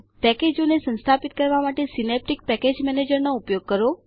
પેકેજોને સંસ્થાપિત કરવા માટે સીનેપ્ટીક પેકેજ મેનેજરનો ઉપયોગ કરો